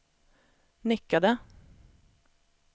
nickade